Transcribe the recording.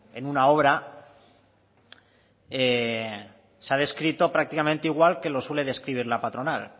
en una obra se ha descrito prácticamente igual que lo suele describir la patronal